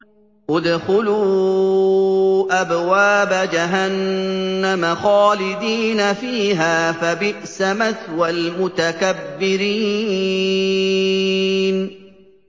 ادْخُلُوا أَبْوَابَ جَهَنَّمَ خَالِدِينَ فِيهَا ۖ فَبِئْسَ مَثْوَى الْمُتَكَبِّرِينَ